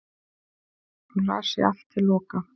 og las ég allt til loka